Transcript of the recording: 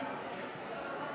Istungi lõpp kell 20.55.